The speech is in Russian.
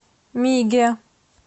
миге